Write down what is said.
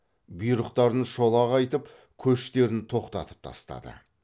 бұйрықтарын шолақ айтып көштерін тоқтатып тастады